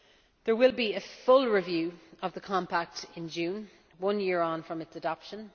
There will be a full review of the Compact in June, one year on from its adoption.